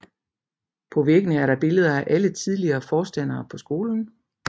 På væggene er der billeder af alle tidligere forstandere for skolen